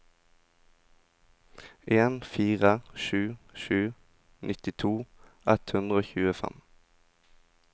en fire sju sju nittito ett hundre og tjuefem